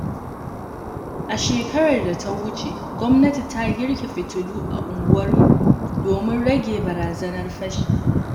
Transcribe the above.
A shekarar da ta wuce, gwamnati ta girke fitilu a unguwarmu domin rage barazanar fashi.